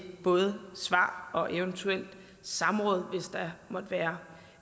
både svar og eventuelt samråd hvis der måtte være